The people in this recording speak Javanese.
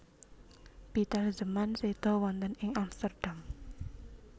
Pieter Zeeman séda wonten ing Amsterdam